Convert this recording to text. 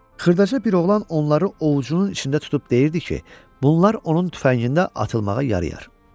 Xırdaca bir oğlan onları ovucunun içində tutub deyirdi ki, bunlar onun tüfəngində atılmağa yarayar.